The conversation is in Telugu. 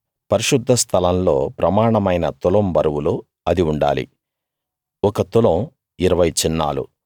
పరిశుద్ధ స్థలంలో ప్రమాణమైన తులం బరువులో అది ఉండాలి ఒక తులం 20 చిన్నాలు